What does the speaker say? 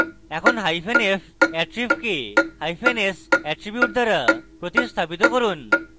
এখন hyphen f attrib কে hyphen s attribute দ্বারা প্রতিস্তাপিত করুন